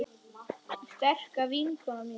Sterka vinkona mín.